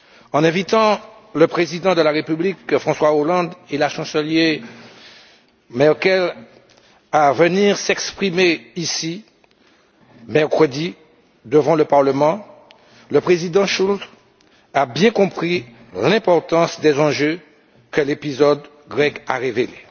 En invitant le président de la République, François Hollande, et la chancelière Merkel à venir s'exprimer ici, mercredi, devant le Parlement, le président Schulz a bien compris l'importance des enjeux que l'épisode grec a révélés.